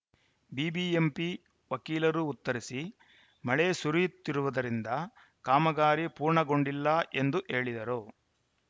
BBMP ವಕೀಲರು ಉತ್ತರಿಸಿ ಮಳೆ ಸುರಿಯುತ್ತಿರುವುದರಿಂದ ಕಾಮಗಾರಿ ಪೂರ್ಣಗೊಂಡಿಲ್ಲ ಎಂದು ಹೇಳಿದರು